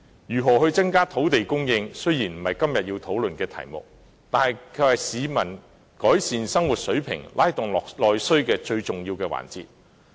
如何增加土地供應，雖然不是今天要討論的議題，卻是改善市民生活水平，拉動內需最重要的環節。